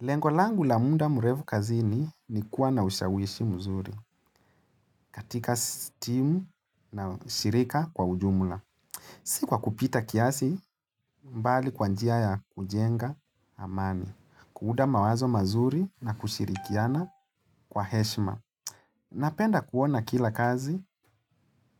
Lengolangu la muda murevu kazini ni kuwa na ushawishi mzuri katika stimu na shirika kwa ujumla. Sikuwa kupita kiasi mbali kwanjia ya kujenga amani, kuuda mawazo mazuri na kushirikiana kwa heshima. Napenda kuona kila kazi